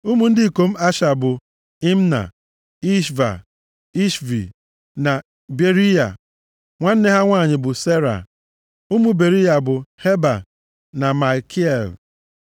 Ụmụ ndị ikom Asha bụ, Imna, Ishva, Ishvi na Beriya. Nwanne ha nwanyị bụ Sera. Ụmụ Beriya bụ, Heba na Malkiel.